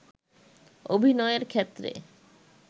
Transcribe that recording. অভিনয়ের ক্ষেত্রে